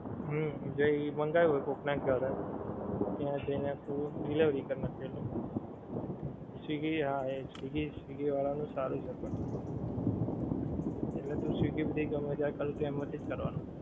હમ જે ઈ મંગાયું હોએ કોક ને ઘરે ત્યાં જઈ ને delivery કરી નાખે એ લોકો swiggy હા એ swiggy વાળા નું સારું છે પણ એટલે તો swiggy થી ગમ્મે ત્યારે એમાં થીજ કરવાનું